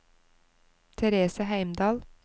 Therese Heimdal